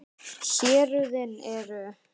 Héruðin eru